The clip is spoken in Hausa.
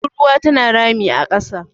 tururuwa tana rami a kasa